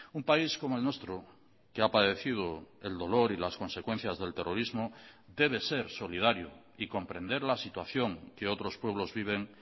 un país como el nuestro que ha padecido el dolor y las consecuencias del terrorismo debe ser solidario y comprender la situación que otros pueblos viven